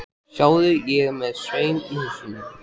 Sjáðu, ég er með saum í hausnum.